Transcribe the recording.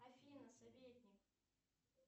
афина советник